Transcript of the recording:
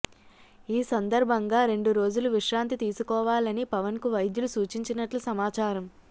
ఈ సందర్భంగా రెండు రోజులు విశ్రాంతి తీసుకోవాలని పవన్కు వైద్యులు సూచించినట్లు సమాచారం